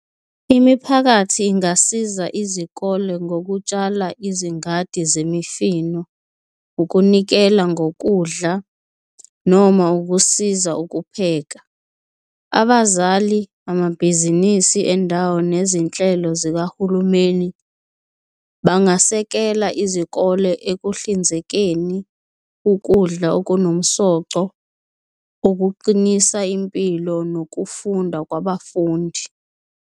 Imiphakathi ingasiza izikole ngokutshala izingadi zemifino, ukunikela ngokudla noma ukusiza ukupheka. Abazali, amabhizinisi endawo, nezinhlelo zikahulumeni bangasekela izikole ekuhlinzekeni ukudla okunomsoco okuqinisa impilo nokufunda kwabafundi.